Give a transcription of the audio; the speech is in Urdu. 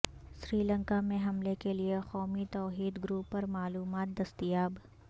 سری لنکا میں حملے کیلئے قومی توحید گروپ پر معلومات دستیاب